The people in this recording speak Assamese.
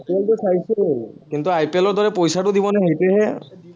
IPL টো চাইছো, কিন্তু IPL ৰ দৰে পইচাটো দিবনে সেইটোহে